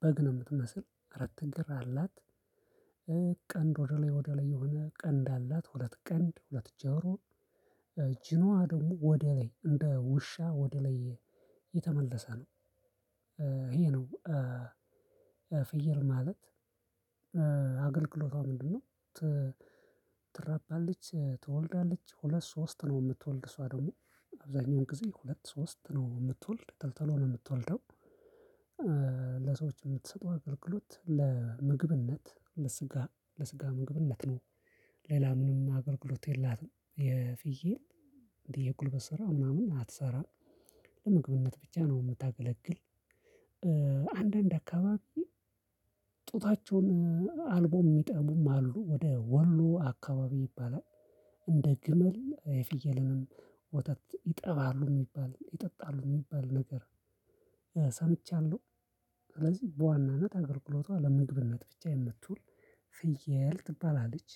በግ ነው የምትመስል አራት እግር አላት። ቀንድ ወደ ላይ ወደ ላይ የሆነ ቀንድ አላት ሁለት ቀንድ ሁለት ጆሮ። ጂናዋ ደግሞ ወደ ላይ እንደ ውሻ ወደ ላይ የተመለሰ ነው። ይሄ ነው። ፍየል ማለት አገልግሎቷ ምንድነው? ትረባለች ትወልዳለች ሁለት ሶስት ነው የምትወልድ እሷ ደግሞ አብዛኛውን ጊዜ ሁለት ሶስት ነው የምትወልድ ቶሎ ቶሎ የምትወልደው። ለሰዎች የምትሰጠው አገልግሎት ለምግብነት ለስጋ ለስጋ ምግብነት ነው። ሌላ ምንም አገልግሎት የላትም። የፍየል እንዲህ ሰራ ምናምንም አትሰራም። ለምግብነት ብቻ ነው የምታገለግል። አንዳንድ አካባቢ ጡታቸውን አልቦም የሚጠቡም አሉ ወደ ወሎ አካባቢ ይባላል። እንደ ግመል ፍየልንም ወተት ይጠባሉ የሚባል ይጠጣሉ የሚባል ነገር ሰምቻለሁ። ስለዚህ በዋናነት አገልግሎቷ ለምግብነት ብቻ የምትውል ፍየል ትባላለች